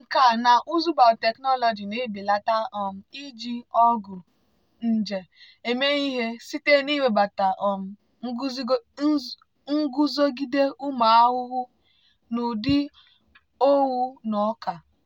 nkà na ụzụ biotechnology na-ebelata um iji ọgwụ nje eme ihe site n'iwebata um nguzogide ụmụ ahụhụ n'ụdị owu na ọka.